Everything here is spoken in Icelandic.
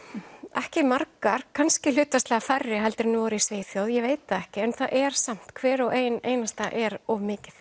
ekki margar kannski hlutfallslega færri en voru í Svíþjóð ég veit það ekki en það er samt hver og ein einasta er of mikið